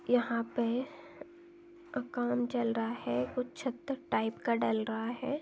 यहाँ पे काम चल रहा है कुछ छत टाइप का डल रहा है।